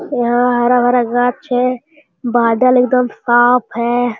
यहाँ हरा भरा गाछ है बादल एकदम साफ है।